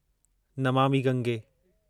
Namami Gange